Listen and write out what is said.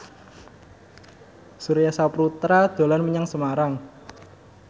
Surya Saputra dolan menyang Semarang